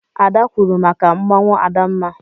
Ada kwuuru maka mmanwụ Adamma.